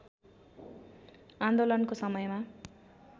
आन्दोलनको समयमा